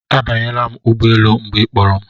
Abanyela m n'ụgbọelu mgbe ị kpọrọ m